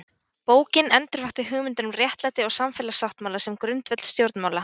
Bókin endurvakti hugmyndir um réttlæti og samfélagssáttmála sem grundvöll stjórnmála.